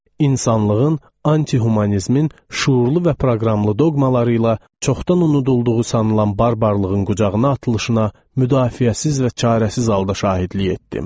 İnsanlığın antihumanizmin şüurlu və proqramlı doqmaları ilə çoxdan unudulduğu sanılan barbarlığın qucağına atılışına müdafiəsiz və çarəsiz halda şahidlik etdim.